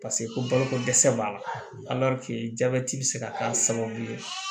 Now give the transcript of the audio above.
paseke koloko dɛsɛ b'a la jabɛti be se ka k'a sababu ye